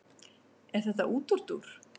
Er þetta útúrdúr?